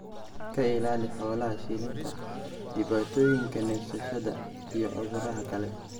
ka ilaali xoolaha shilinta, dhibaatooyinka neefsashada iyo cudurrada kale.